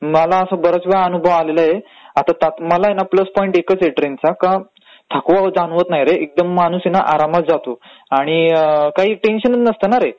मला बऱ्याच वेळा अनुभव आलाय, मला आहे ना प्लस पॉइंट एकचं आहे ट्रेनचा थकवा जाणवत नाही रे. माणूस एकदम आरामात जातो. आणि काही टेन्शनचं नाही ना रे.